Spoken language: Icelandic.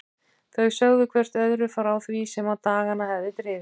Þau sögðu hvert öðru frá því sem á dagana hafði drifið.